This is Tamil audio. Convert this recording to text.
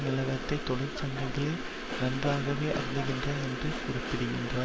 நிலவரத்தை தொழிற்சங்கங்கள் நன்றாகவே அறிந்திருக்கின்றன என்று கூறியிருக்கிறா